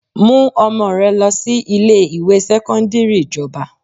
Mú ọmọ rẹ lọ sí ilé ìwé sẹ́kọ́ńdírì ìjọba!